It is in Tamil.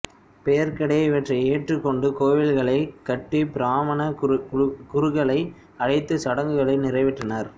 பெர்கடே இவற்றை ஏற்றுக் கொண்டு கோவில்களைக் கட்டி பிராமண குருக்களை அழைத்து சடங்குகளை நிறைவேற்றினர்